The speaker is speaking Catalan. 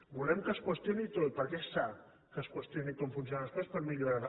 volem que es qüestioni tot perquè és sa que es qüestioni com funcionen les coses per millorar les